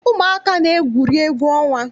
Ụmụaka na- egwuri egwu ọnwa.